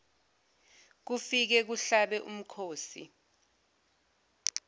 kufike kuhlabe umkhosi